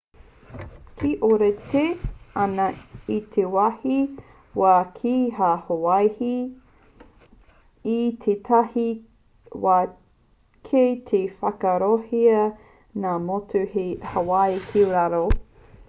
e ōrite ana te wāhi wā ki tā hawaii i tētahi wā kei te whakaarohia ngā motu hei hawaii ki raro